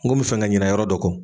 N kun bɛ fɛ ka ɲinɛ yɔrɔ dɔ kɔ.